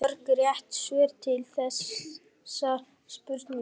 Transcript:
Hvað eru mörg rétt svör til við þessari spurningu?